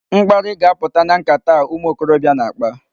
Mkparị ga-apụta na nkata a ụmụ okorobịa na-akpa.